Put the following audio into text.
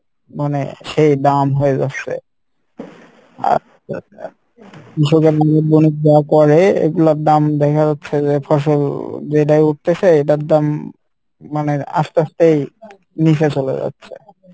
মানে শেই দাম হয়ে যাচ্ছে এগুলার দাম দেখে হচ্ছে যে ফসল যেটাই উঠতেছে এইটার দাম মানে আস্তে আস্তেই নিচে চলে যাচ্ছে,